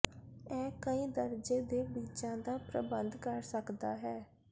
ਇਹ ਕਈ ਦਰਜੇ ਦੇ ਬੀਜਾਂ ਦਾ ਪ੍ਰਬੰਧ ਕਰ ਸਕਦਾ ਹੈ